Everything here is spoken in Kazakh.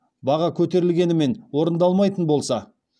баға көтерілгенімен орындалмайтын болса